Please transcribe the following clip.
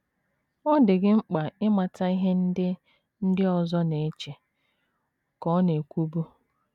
“ Ọ dị gị mkpa ịmata ihe ndị ndị ọzọ na - eche, ” ka ọ na - ekwubu.